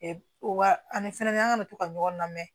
Wa ani fɛnɛ an kana to ka ɲɔgɔn lamɛn